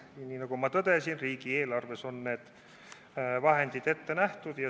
Ja nagu ma tõdesin, on riigieelarves need vahendid ette nähtud.